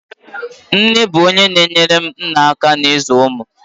Nne bụ onye na-enyere nna aka ịzụ ụmụ.